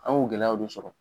An y'o gɛlɛyaw de sɔrɔ.